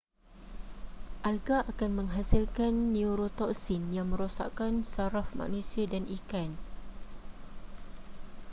alga akan menghasilkan neurotoksin yang merosakkan saraf manusia dan ikan